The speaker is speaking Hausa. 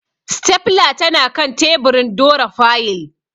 Stapler tanakan teburin dora fayil.